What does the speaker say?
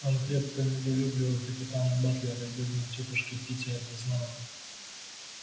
он крепко недолюбливал капитана батлера и бедная тётушка питти это знала